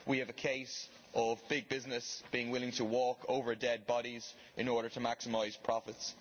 We have a case of big business being willing to walk over dead bodies in order to maximise products.